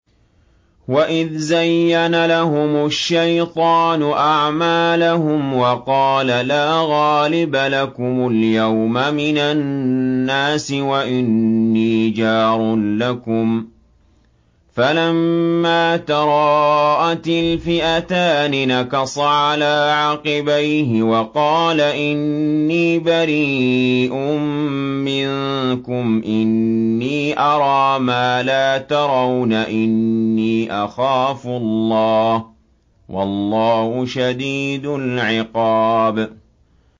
وَإِذْ زَيَّنَ لَهُمُ الشَّيْطَانُ أَعْمَالَهُمْ وَقَالَ لَا غَالِبَ لَكُمُ الْيَوْمَ مِنَ النَّاسِ وَإِنِّي جَارٌ لَّكُمْ ۖ فَلَمَّا تَرَاءَتِ الْفِئَتَانِ نَكَصَ عَلَىٰ عَقِبَيْهِ وَقَالَ إِنِّي بَرِيءٌ مِّنكُمْ إِنِّي أَرَىٰ مَا لَا تَرَوْنَ إِنِّي أَخَافُ اللَّهَ ۚ وَاللَّهُ شَدِيدُ الْعِقَابِ